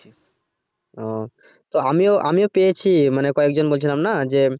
ও তো আমিও আমিও পেয়েছি মানে কয়েকজন বলছিলাম না যে,